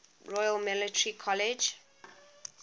royal military college